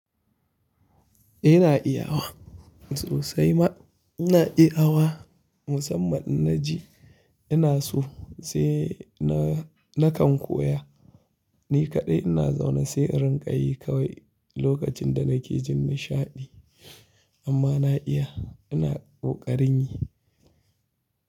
Ina iya wa, sosai ma ina iya wa. Musamman na ji ina so sai na, na kan koya. Ni kaɗai ina zaune sai rinƙayi kawai lokacin da nake jin nishaɗi. Amma na iya, ina ƙoƙarin yi.